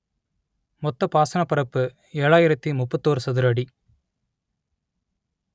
மொத்த பாசனப் பரப்பு ஏழாயிரத்து முப்பத்தியோரு சதுர அடி